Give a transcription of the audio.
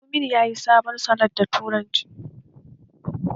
Tumini yayi sabon salat da tumatir